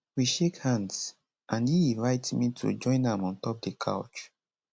we shake hands and e invite me to join am ontop di couch